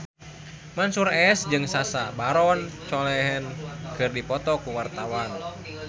Mansyur S jeung Sacha Baron Cohen keur dipoto ku wartawan